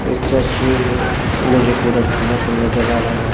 इस चश्मे में मुझे पूरा धुंधला पन नजर आ रहा है।